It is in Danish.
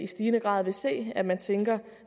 stigende grad vil se at man tænker